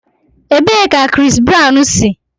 Ebee ka Chris Brown si?